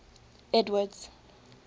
edward's